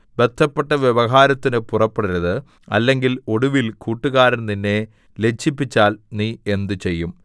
ബദ്ധപ്പെട്ട് വ്യവഹാരത്തിന് പുറപ്പെടരുത് അല്ലെങ്കിൽ ഒടുവിൽ കൂട്ടുകാരൻ നിന്നെ ലജ്ജിപ്പിച്ചാൽ നീ എന്ത് ചെയ്യും